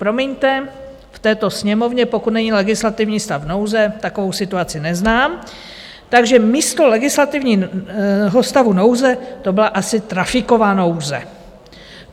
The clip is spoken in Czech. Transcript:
Promiňte, v této Sněmovně, pokud není legislativní stav nouze, takovou situaci neznám, takže místo legislativního stavu nouze to byla asi trafiková nouze.